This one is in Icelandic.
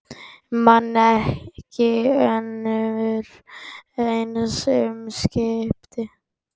Man ekki önnur eins umskipti